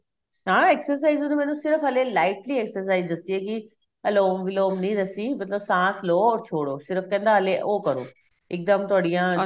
ਹਾਂ exercise ਉਨੇ ਮੈਨੂੰ lightly exercise ਦਸੀ ਏ ਕੀ ਅਲੋਮ ਵਿਲੋਮ ਨਹੀਂ ਦਸੀ ਮਤਲਬ ਸਾਸ ਲੋ or ਛੋੜੋ ਸਿਰਫ ਕਹਿੰਦਾ ਹਲੇ ਉਹ ਕਰੋ ਇੱਕ ਦਮ ਤੁਹਾਡੀਆਂ